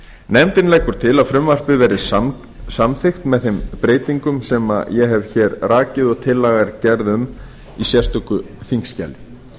nefndin leggur til að frumvarpið verði samþykkt með framangreindum breytingum sem ég hef rakið og sem gerð er tillaga um í sérstöku þingskjali